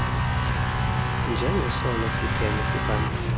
njengesona siphene siphambili